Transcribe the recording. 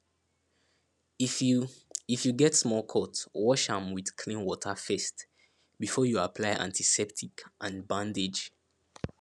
if you if you get small cut wash am with clean water first before you apply antiseptic and bandage